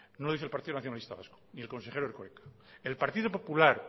no lo dice el partido nacionalista vasco ni el consejero erkoreka el partido popular